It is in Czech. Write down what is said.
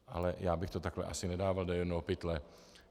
Ale já bych to takhle asi nedával do jednoho pytle.